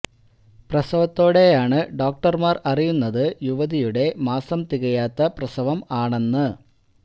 പ്രസവത്തോടെ ആണ് ഡോക്ടർമാർ അറിയുന്നത് യുവതിയുടെ മാസം തികയാത്ത പ്രസവം ആണെന്ന്